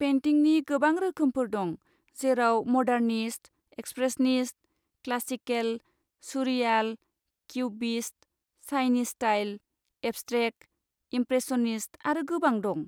पेइन्टिंनि गोबां रोखोमफोर दं, जेराव modernist, expressionist, classical, surreal, cubist, Chinese style, abstract, impressionist आरो गोबां दं।